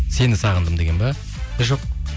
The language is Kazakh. сені сағындым деген бе жоқ